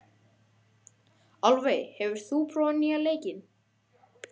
Álfey, hefur þú prófað nýja leikinn?